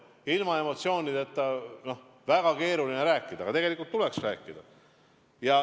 Ilma emotsioonideta on sellest väga keeruline rääkida, aga tegelikult tuleks rääkida.